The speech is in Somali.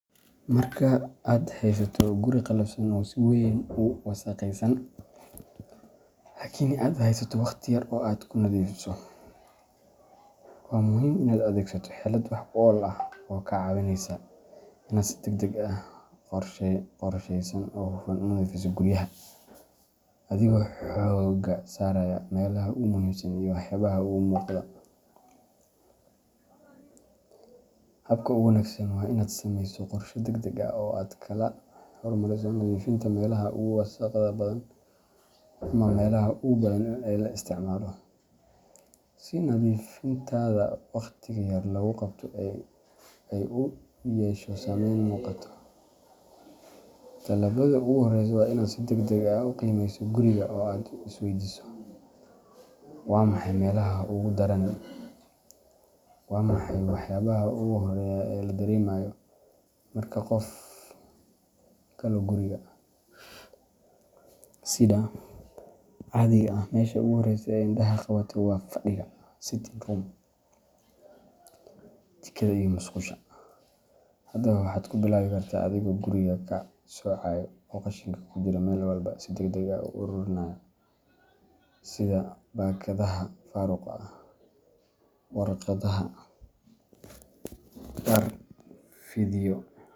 Marka aad haysato guri qallafsan oo si weyn u wasakhaysan laakiin aad haysto waqti yar oo aad ku nadiifiso, waa muhiim inaad adeegsato xeelad wax ku ool ah oo kaa caawineysa inaad si degdeg ah, qorshaysan, oo hufan u nadiifiso guryaha, adigoo xoogga saaraya meelaha ugu muhiimsan iyo waxyaabaha ugu muuqda. Habka ugu wanaagsan waa inaad samaysato qorshe degdeg ah oo aad kala hormariso nadiifinta meelaha ugu wasakhda badan ama meelaha ugu badan ee la isticmaalo, si nadiifintaada waqti yar lagu qabto ay u yeesho saameyn muuqata. Tallaabada ugu horreysa waa inaad si degdeg ah u qiimeyso guriga oo aad isweydiiso: “Waa maxay meelaha ugu darani? Waa maxay waxyaabaha ugu horreeya ee la dareemayo marka qof galo guriga?” Sida caadiga ah, meesha ugu horreysa ee indhaha qabata waa fadhiga sitting room, jikada, iyo musqusha. Haddaba, waxaad ku bilaabi kartaa adigoo guriga kala soocaya oo qashinka ku jira meel walba si degdeg ah u uruurinaya, sida baakadaha faaruqa ah, warqadaha, dhar fidhiyo.